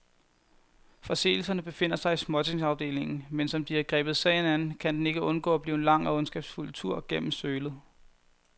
Forseelserne befinder sig i småtingsafdelingen, men som de har grebet sagen an, kan den ikke undgå at blive en lang og ondskabsfuld tur gennem sølet.